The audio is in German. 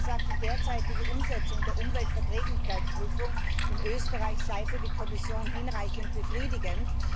Sie haben gesagt, die derzeitige Umsetzung der Umweltverträglichkeitsprüfung in Österreich sei für die Kommission hinreichend befriedigend.